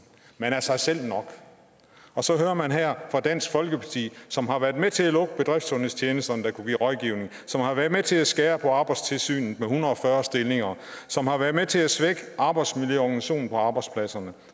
man er sig selv nok så hører man her dansk folkeparti som har været med til at lukke bedriftssundhedstjenesterne der kunne give rådgivning som har været med til at skære ned på arbejdstilsynet med en hundrede og fyrre stillinger som har været med til at svække arbejdsmiljøorganisationen på arbejdspladserne